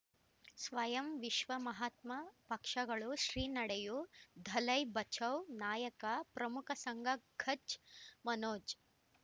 ಸ್ವಯಂ ವಿಶ್ವ ಮಹಾತ್ಮ ಪಕ್ಷಗಳು ಶ್ರೀ ನಡೆಯೂ ದಲೈ ಬಚೌ ನಾಯಕ ಪ್ರಮುಖ ಸಂಘ ಕಚ್ ಮನೋಜ್